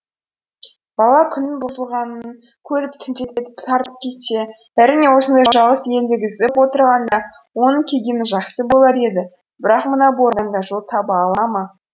бала күннің бұзылғанын көріп түнделетіп тартып кетсе әрине осындай жалғыз елегізіп отырғанда оның келгені жақсы болар еді бірақ мына боранда жол таба ала ма